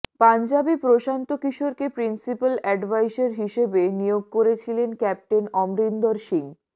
পঞ্জাবে প্রশান্ত কিশোরকে principal adviser হিসেবে নিয়োগ করেছিলেন ক্যাপ্টেন অমরিন্দর সিং